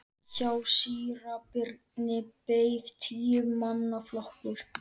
Hjá síra Birni beið tíu manna flokkur.